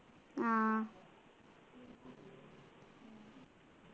ആഹ്